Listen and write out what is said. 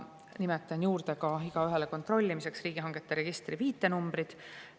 Nimetan juurde riigihangete registri viitenumbrid, et igaüks saaks kontrollida.